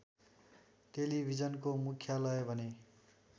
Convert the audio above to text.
टेलिभिजनको मुख्यालय भने